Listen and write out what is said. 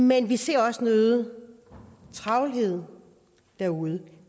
men vi ser også en øget travlhed derude